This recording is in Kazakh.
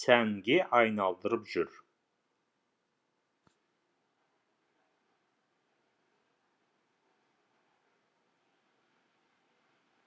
сәнге айналдырып жүр